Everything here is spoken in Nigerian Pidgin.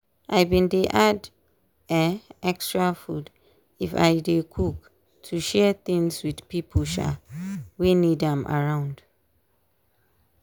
i bin dey add um extra food if i dey cook to share things with pipo um wey need am around.